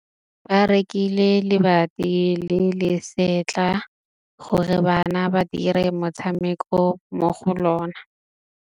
Ba rekile lebati le le setlha gore bana ba dire motshameko mo go lona.